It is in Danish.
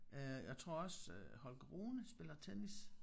Øh jeg tror også Holger Rune spiller tennis